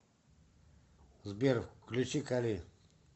сбер включи кали